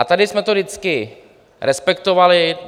A tady jsme to vždycky respektovali.